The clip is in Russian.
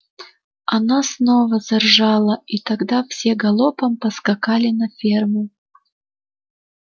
она снова заржала и тогда все галопом поскакали на ферму